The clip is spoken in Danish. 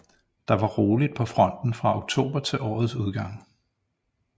Der var roligt på fronten fra oktober til årets udgang